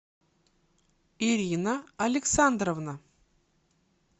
ирина александровна